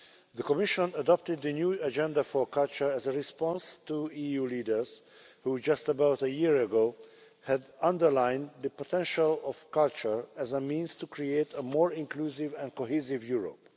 The Commission adopted the new Agenda for Culture as a response to EU leaders who, just about a year ago, had underlined the potential of culture as a means of creating a more inclusive and cohesive Europe.